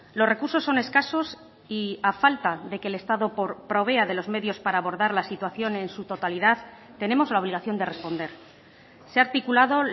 los recursos son escasos y a falta de que el estado provea de los medios para abordar la situación en su totalidad tenemos la obligación de responder se ha articulado